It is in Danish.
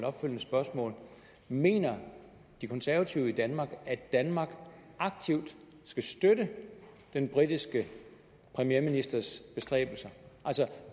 opfølgende spørgsmål mener de konservative i danmark at danmark aktivt skal støtte den britiske premierministers bestræbelser